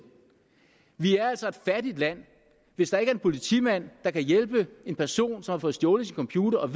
vi altså et fattigt land hvis der ikke er en politimand der kan hjælpe en person som har fået stjålet sin computer og